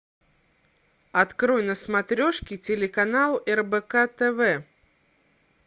открой на смотрешке телеканал рбк тв